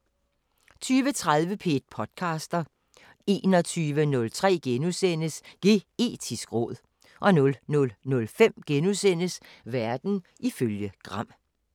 20:30: P1 podcaster 21:03: Geetisk råd * 00:05: Verden ifølge Gram *